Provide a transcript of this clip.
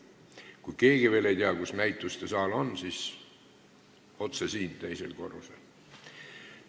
Kui keegi veel ei tea, kus näitustesaal on, siis ütlen, et otse siit edasi teisel korrusel.